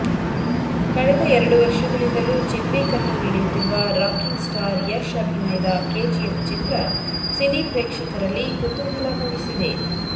ಕಳೆದ ಎರಡು ವರ್ಷಗಳಿಂದಲೂ ಚಿತ್ರೀಕರಣ ನಡೆಯುತ್ತಿರುವ ರಾಕಿಂಗ್ ಸ್ಟಾರ್ ಯಶ್ ಅಭಿನಯದ ಕೆಜಿಎಫ್ ಚಿತ್ರ ಸಿನಿ ಪ್ರೇಕ್ಷಕರಲ್ಲಿ ಕುತೂಹಲ ಮೂಡಿಸಿದೆ